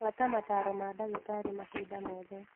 Buata mataro ma ndagītarī mahinda mothe.